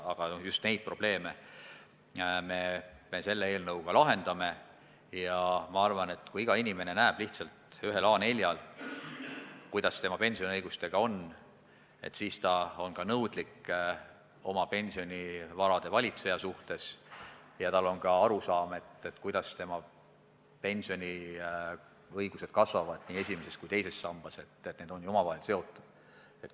Aga just neid probleeme me selle eelnõuga lahendame ja ma arvan, et kui iga inimene näeks ühel A4-lehel, kuidas tema pensioniõigustega lood on, siis oleks ta oma pensionivarade valitseja suhtes nõudlik ja saaks aru, kuidas tema pensioniõigused nii esimeses kui ka teises sambas kasvavad – need on ju omavahel seotud.